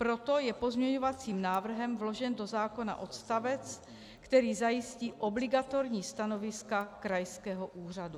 Proto je pozměňovacím návrhem vložen do zákona odstavec, který zajistí obligatorní stanoviska krajského úřadu.